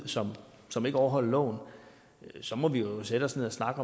som som ikke overholdt loven så må vi jo sætte os ned og snakke